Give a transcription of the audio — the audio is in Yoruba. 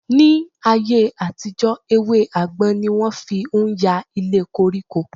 Ní ayé-àtijọ, ewé àgbọn ni wọ́n fi ń ya ilé koríko.